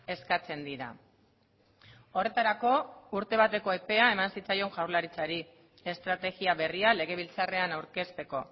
eskatzen dira horretarako urte bateko epea eman zitzaion jaurlaritzari estrategia berria legebiltzarrean aurkezteko